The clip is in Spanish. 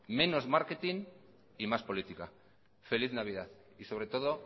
menos marketing y más política feliz navidad y sobre todo